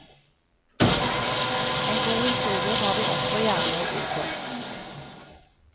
En god historie har de også gjerne å by på.